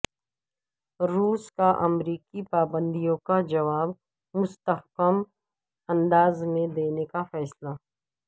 روس کا امریکی پابندیوں کاجواب مستحکم انداز میں دینے کا فیصلہ